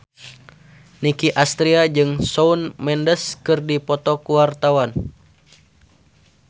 Nicky Astria jeung Shawn Mendes keur dipoto ku wartawan